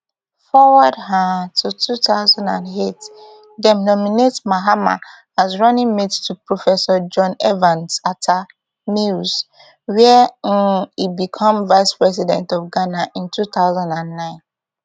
forward um to two thousand and eight dem nominate mahama as running mate to professor john evans atta mills wia um e become vice president of ghana in two thousand and nine